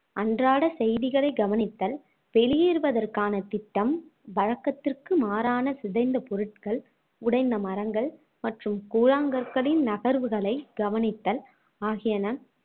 அன்றாட செய்திகளை கவனித்தல் வெளியேறுவதற்கான திட்டம் வழக்கத்திற்கு மாறான சிதைந்த பொருட்கள் உடைந்த மரங்கள் மற்றும் கூழாங்கற்களின் நகர்வுகளைக் கவனித்தல் ஆகியன